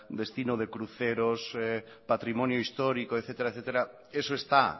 destino de cruceros patrimonio histórico etcétera etcétera eso está